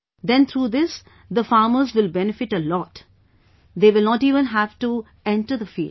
Then through this, the farmers will benefit a lot and they will not even have to enter the fields